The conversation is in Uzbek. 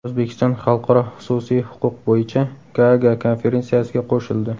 O‘zbekiston Xalqaro xususiy huquq bo‘yicha Gaaga konferensiyasiga qo‘shildi.